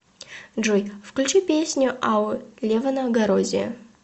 джой включи песню ау левона гарозия